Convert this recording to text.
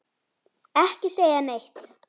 Ekki segja neitt!